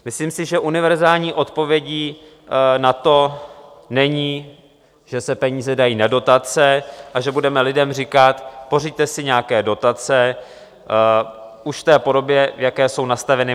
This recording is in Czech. Myslím si, že univerzální odpovědí na to není, že se peníze dají na dotace a že budeme lidem říkat: pořiďte si nějaké dotace už v té podobě, v jaké jsou nastaveny.